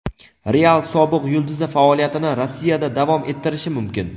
"Real" sobiq yulduzi faoliyatini Rossiyada davom ettirishi mumkin.